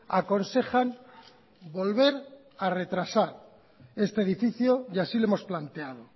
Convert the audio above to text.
aconsejan volver a retrasar este edificio y así lo hemos planteado